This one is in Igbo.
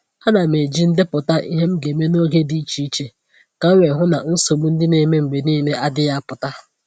A na m eji ndepụta ihe m ga-eme n’oge dị iche iche ka m wee hụ na nsogbu ndị na-eme mgbe niile adịghị apụta